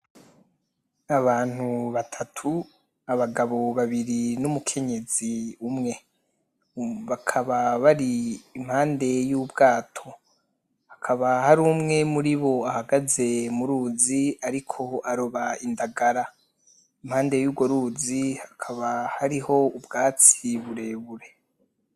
Abantu batatu abagabo babiri n'umukenyezi umwe bakaba bari impande y'ubwato hakaba hari umwe muribo ahagaze mu ruzi ariko aroba indagara , impande yurwo ruzi hakaba hariho ubwatsi burebure.